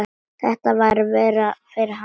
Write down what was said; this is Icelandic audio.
Þetta var verra fyrir hana.